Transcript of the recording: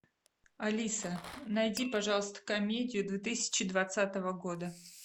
алиса найди пожалуйста комедию две тысячи двадцатого года